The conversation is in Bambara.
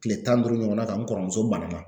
Kile tan ni duuru ɲɔgɔn na ka n kɔrɔmuso banana.